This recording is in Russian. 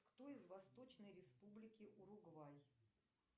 кто из восточной республики уругвай